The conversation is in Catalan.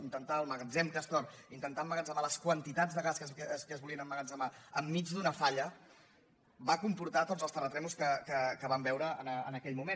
intentar al magatzem castor emmagatzemar les quantitats de gas que es volien emmagatzemar enmig d’una falla va comportar tots els terratrèmols que vam veure en aquell moment